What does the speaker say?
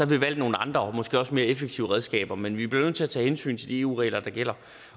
vi valgt nogle andre og måske også mere effektive redskaber men vi bliver nødt til at tage hensyn til de eu regler der gælder